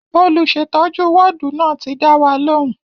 Olùsètọ́jú wọ́ọ̀dù náà ti dá wa lóhùn